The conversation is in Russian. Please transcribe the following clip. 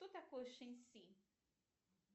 кто такой шень си